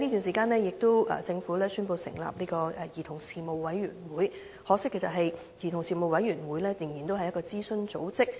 政府亦在這段時間宣布成立兒童事務委員會，可惜的是這個委員會仍然只屬諮詢組織。